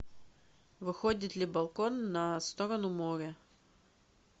выходит ли балкон на сторону моря